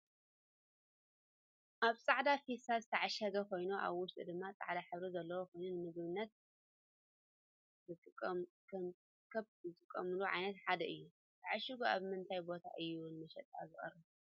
ኣብ ፃዕዳ ፊስታል ዝተዓሸገ ኮይኑ ኣብ ውሽጡ ድማ ፃዕዳ ሕብሪ ዘለዎ ኮይኑ ንምግብነት ክብ ዝጠቅሙና ዓይነት ሓደ እዩ። ተዓሽጊ ኣብ ምንታይ ቦታ እዩ ንመሸጣ ዝቀርብ?